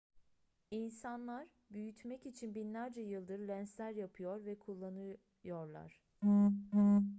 i̇nsanlar büyütmek için binlerce yıldır lensler yapıyor ve kullanıyorlar